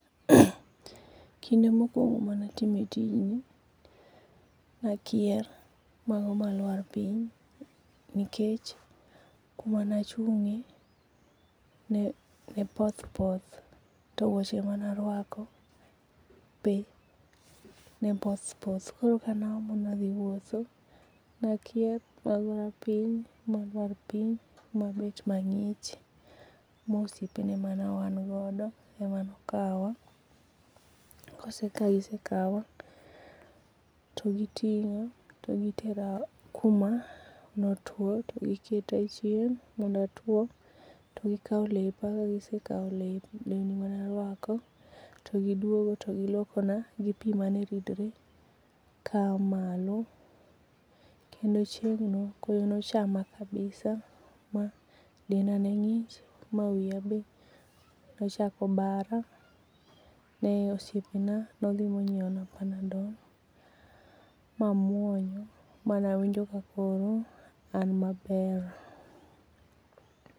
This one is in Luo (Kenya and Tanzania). Kinde mokuongo mane atime tijni ne akier ma alwar piny nikech kama ne achunge ne poth poth to wuoche mane arwako be ne poth poth koro kane aomo ni adhi wuotho ne akier ma agora piny malwar piny mabet mangich ma osiepe mane wan godo emane okawa, kosekawa to gitinga to gitera kuma ne otuo to giketa e chieng mondo atuo, to gikaw lepa kagisekaw lewni mane arwako to giluokona gi pii mane ridore kaya malo kendo chieng no koyo ne ochama kabisa ma denda ne ngich ma wiya be ne nochako bara ma osiepe na ne odhi monyiewna panadol mamuonyo mane awinjo kakakoro an maber